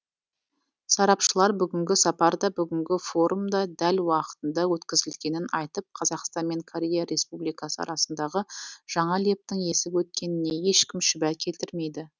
сарапшылар бүгінгі сапар да бүгінгі форум да дәл уақытында өткізілгенін айтып қазақстан мен корея республикасы арасындағы жаңа лептің есіп өткеніне ешкім шүбә келтірмейді